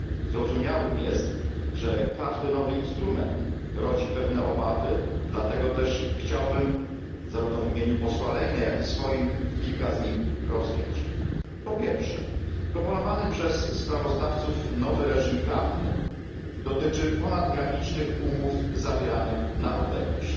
Zrozumiałym jest, że każdy nowy instrument rodzi pewne obawy, dlatego chciałbym zarówno w imieniu posła Lehnego, jak i swoim, kilka z nich rozwiać. Po pierwsze, proponowany przez sprawozdawców nowy reżim prawny dotyczy ponadgranicznych umów zawieranych na odległość.